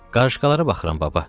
Qarışqalara baxıram, baba.